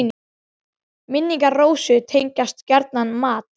Minn- ingar Rósu tengjast gjarnan mat.